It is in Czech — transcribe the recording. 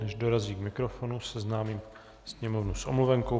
Než dorazí k mikrofonu, seznámím sněmovnu s omluvenkou.